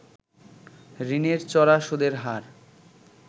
ঋণের চড়া সুদের হার